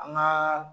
An ka